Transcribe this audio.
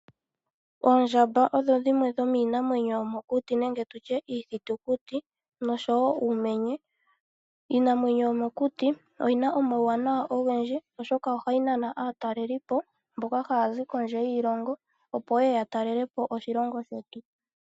Oondjamba odho dhimwe dhomiinamwenyo yomokuti nenge tutye iithitukiti noshowo uumenye. Iinamwenyo yomokuti oyina omauwanawa ogendji, oshoka ohayi nana aatalelipo mboka haya zi kondje yiilongo opo yeye yatalelepo oshilongo shetu.